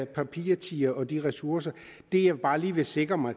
papirtiger og de ressourcer det jeg bare lige vil sikre mig